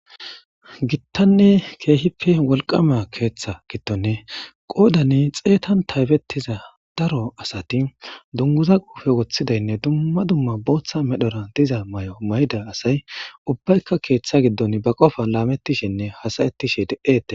Gitanne keehippe wolqama keeththa giddon qoodani xeetan taybettiza daro asati dunguza quufe woththidaynne dumma dumma booththa medhora diza may'o mayida asay ubbaykka keeththa giddon ba qofa laamettishenne hasayettishe de'ete